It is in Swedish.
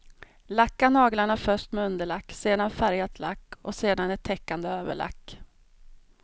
Lacka naglarna först med underlack, sedan färgat lack och sedan ett täckande överlack.